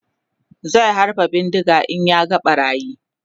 zai halba bindiga in ya ga ɓarayin